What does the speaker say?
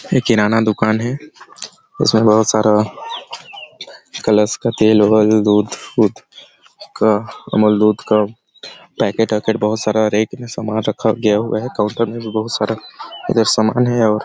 ये किराना दुकान है उसमे बहुत सारा कलर्स का तेल वगैरह दूध-वुध का कमल दूध का पैकेट वैकेट दूध का बहुत सारा रैक में सामान रखा गया हुआ है काउंटर में भी बहुत सारा इधर सामान है और--